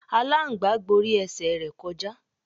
Aláǹgbá gborí ẹsẹ̀ rẹ̀ kọjá.